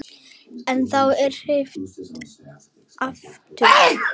En þá er hringt aftur.